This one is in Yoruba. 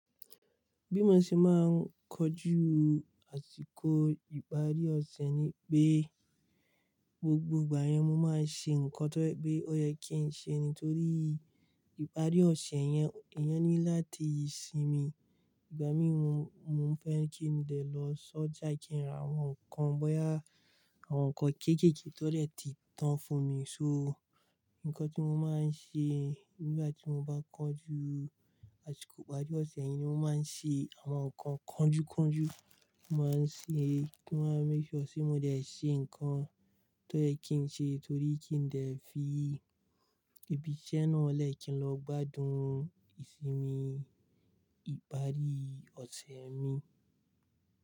Bí mo ṣe máa ń kojú àsìkò ìparí ọ̀sẹ̀ ni pé gbogbo ìgbà yẹn mo máa ń ṣe nǹkan tó pé ó yẹ kí n ṣe nítorí ìparí ọ̀sẹ̀ yẹn, eeyan ni láti sinmi. Ìgbà mí mo mo fẹ́ kí n lè lọ sọ́jà kí n ra àwọn nǹkan bóyá àwọn nǹkan kékèèké tó dè ti tán fún mi. So, nǹkan tí mo máa ń ṣe nígbà tí mo bá kojú àsìkò ìparí ọ̀sẹ̀ iyẹn ni mo máa ń ṣe àwọn nǹkan kanjúkanjú. Mo máa ń ṣe, mo máa ń make sure ti mo dè ṣe nǹkan tó yẹ kí n ṣe torí kí n dè fi ibi iṣẹ́ náà lẹ́ kìn lọ gbádùn ìsinmi ìparí ọ̀sẹ̀ mi.